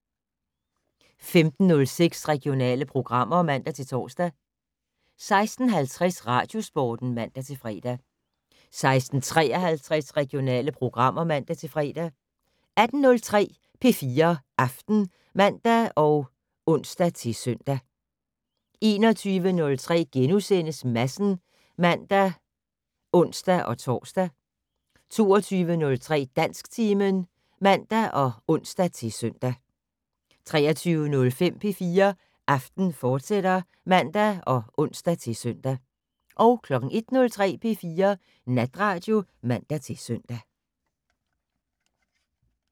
15:06: Regionale programmer (man-tor) 16:50: Radiosporten (man-fre) 16:53: Regionale programmer (man-fre) 18:03: P4 Aften (man og ons-søn) 21:03: Madsen *(man og ons-tor) 22:03: Dansktimen (man og ons-søn) 23:05: P4 Aften, fortsat (man og ons-søn) 01:03: P4 Natradio (man-søn)